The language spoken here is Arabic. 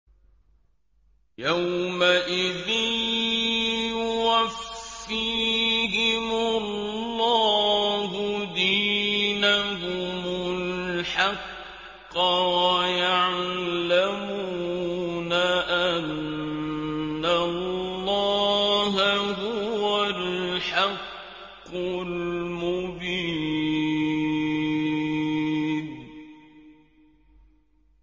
يَوْمَئِذٍ يُوَفِّيهِمُ اللَّهُ دِينَهُمُ الْحَقَّ وَيَعْلَمُونَ أَنَّ اللَّهَ هُوَ الْحَقُّ الْمُبِينُ